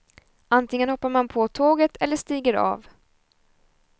Antingen hoppar man på tåget eller stiger av.